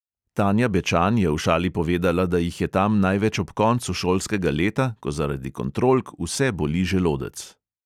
Tanja bečan je v šali povedala, da jih je tam največ ob koncu šolskega leta, ko zaradi kontrolk vse boli želodec.